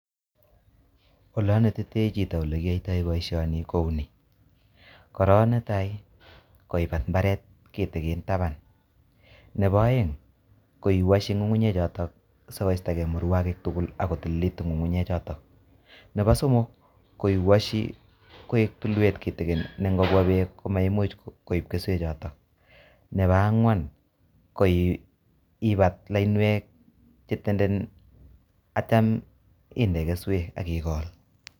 How I would teach someone to do this job is by; firs till a small piece of land, second is by repeating the digging to get rid of weeds and make the seedbed clean and thirdly is by heaping soil to avoid surface runoff and fourthly is by making arrows then plant the seeds.